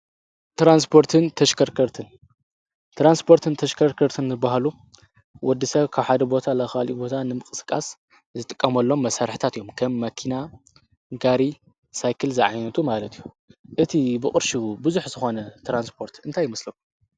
ትራንስፖርትን ተሽከርከርትን ትራንስፖርትን ተሽከርከርትን ዝብሃሉ ወዲ ሰብ ካብ ሓደ ቦታ ናብ ካሊእ ቦታ ንምቅስቃስ ዝጥቀመሎም መሳርሕታት እዮም፡፡ ከም መኪና፣ ጋሪ፣ ሳይክል ዝዓይነቱ ማለት እዩ፡፡ እቲ ብቅርሹ ብዙሕ ዝኮነ ትራንስፖርት እንታይ ይመስለኩም?